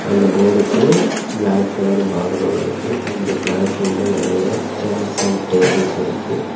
அந்த போர்டுக்கு black colour பார்டரோட இருக்கு இந்த கிளாஸ் ரூம்ல நெறைய சேர்ஸ் அண்ட் டேபிள்ஸ் இருக்கு.